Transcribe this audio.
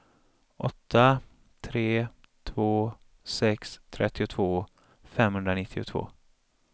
åtta tre två sex trettiotvå femhundranittiotvå